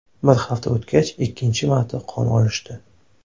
Bir hafta o‘tgach ikkinchi marta qon olishdi.